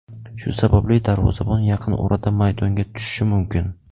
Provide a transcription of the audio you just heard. Shu sababli darvozabon yaqin orada maydonga tushishi mumkin.